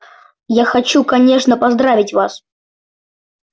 я хочу конечно поздравить вас